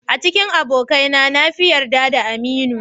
A cikin abokaina na fi yarda da Aminu.